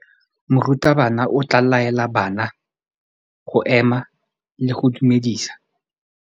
Morutabana o tla laela bana go ema le go go dumedisa.